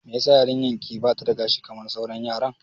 Mai yasa yarinyar ki bata da gashi kamar sauran yaran?